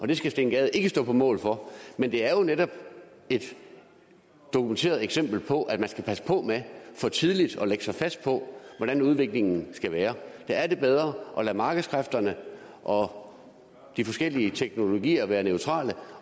det skal steen gade ikke stå på mål for men det er jo netop et dokumenteret eksempel på at man skal passe på med for tidligt at lægge sig fast på hvordan udviklingen skal være der er det bedre at lade markedskræfterne og de forskellige teknologier være neutrale